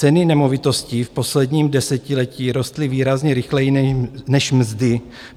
Ceny nemovitostí v posledním desetiletí rostly výrazně rychleji než mzdy.